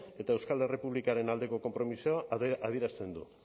eta euskal errepublikaren aldeko konpromisoa adierazten du